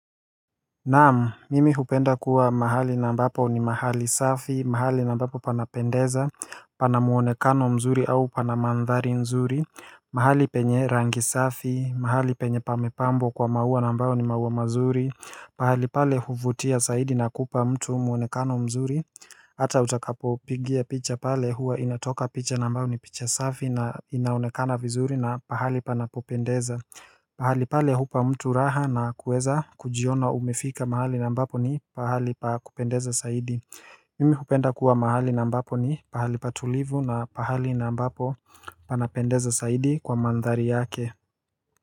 Naam, mimi hupenda kuwa mahali na mbapo ni mahali safi, mahali na mbapo panapendeza, panamuonekano mzuri au panamandhari nzuri mahali penye rangi safi, mahali penye pamepambwa kwa maua nambao ni maua mazuri Pahali pale huvutia saidi na kupa mtu muonekano mzuri. Hata utakapo pigia picha pale huwa inatoka picha nambao ni picha safi na inaonekana vizuri na pahali panapopendeza. Pahali pale hupa mtu raha na kuweza kujiona umifika mahali nambapo ni pahali pa kupendeza saidi. Mimi hupenda kuwa mahali nambapo ni pahali patulivu na pahali nambapo panapendeza saidi kwa mandhari yake.